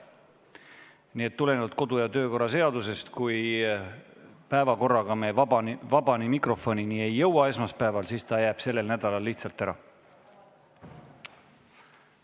Nii et tulenevalt kodu- ja töökorra seadusest, kui me päevakorraga vaba mikrofonini esmaspäeval ei jõua, jääb see sellel nädalal lihtsalt ära.